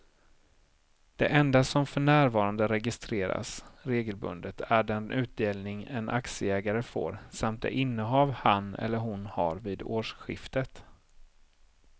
Det enda som för närvarande registreras regelbundet är den utdelning en aktieägare får samt det innehav han eller hon har vid årsskiftet.